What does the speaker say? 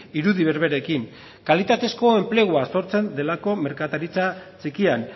irudi berberekin kalitatezko enplegua sortzen delako merkataritza txikian